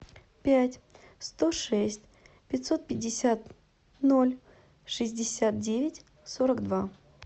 пять сто шесть пятьсот пятьдесят ноль шестьдесят девять сорок два